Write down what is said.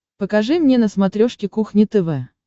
покажи мне на смотрешке кухня тв